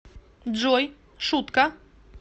джой шутка